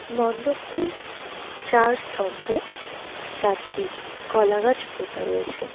মন্ডপটির চার স্তম্ভে চারটি কলাগাছ পোতা রয়েছে.